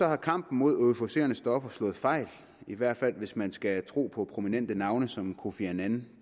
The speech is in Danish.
har kampen mod euforiserende stoffer slået fejl i hvert fald hvis man skal tro på prominente navne som kofi annan